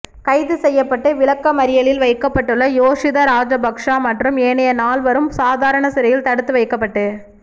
கைது செய்யப்பட்டு விளக்கமறியலில் வைக்கப்பட்டுள்ள யோஷித ராஜபக்ஸ மற்றும் ஏனைய நால்வரும் சாதாரண சிறையில் தடுத்து வைக்கப்பட்டு